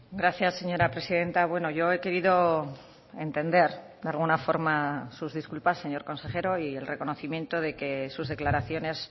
gracias señora presidenta bueno yo he querido entender de alguna forma sus disculpas señor consejero y el reconocimiento de que sus declaraciones